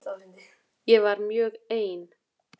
Ég var mjög ein.